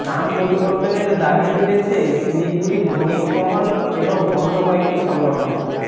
নাম পরিবর্তনের দাবি তুলেছে শিলিগুড়ির বণিক মহল এবং অন্য কয়েকটি সংগঠন